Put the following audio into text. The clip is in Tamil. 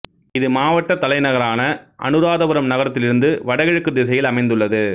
இது மாவட்ட தலைநகரான அனுராதபுரம் நகரத்தில் இருந்து வடகிழக்குத் திசையில் அமைந்துள்ளது